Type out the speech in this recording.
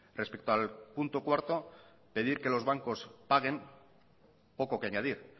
respecto al punto cuarto pedir que los bancos paguen poco que añadir